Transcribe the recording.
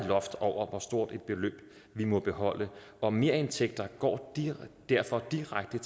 loft over hvor stort et beløb vi må beholde og merindtægter går derfor direkte